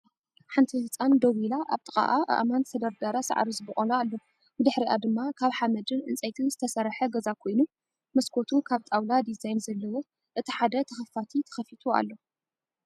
ሓንቲ ህፃን ደው ኢላ ኣብ ጥቅኣ ኣእማን ዝተደርደረ ሳዕሪ ዝበቆሎ ኣሎ። ብድሕሪኣ ድማ ካብ ሓመድን ዕንፀይትን ስተሰርሐ ገዛ ኮይኑ መስኮቱ ካብ ጣውላ ዲዛይን ዘለዎ እቲ ሃደ ተከፋቲ ተከፊቱ ኣሎ።